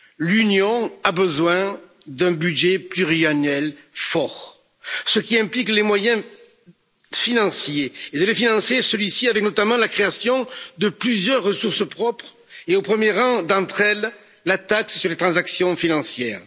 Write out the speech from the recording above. L'Union a besoin d'un budget pluriannuel fort, ce qui implique les moyens financiers et de financer celui ci avec notamment la création de plusieurs ressources propres et, au premier rang d'entre elles, la taxe sur les transactions financières.